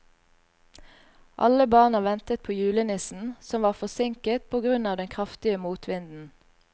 Alle barna ventet på julenissen, som var forsinket på grunn av den kraftige motvinden.